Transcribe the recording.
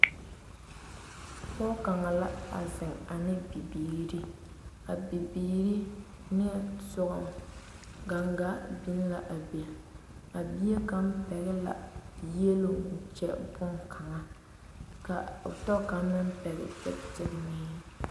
Pɔge kaŋa la a zeŋ ane o biiri a bibiiri nimitɔre gangaa biŋ la a be a bie kaŋa. pɛgele. la yieloŋ kyɛ bonkaŋa ka o tɔ kaŋa meŋ pɛgele kyigikyigiraa.